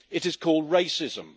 It is called racism.